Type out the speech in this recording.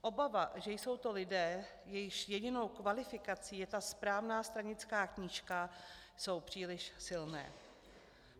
Obava, že jsou to lidé, jejichž jedinou kvalifikací je ta správná stranická knížka, jsou příliš silné.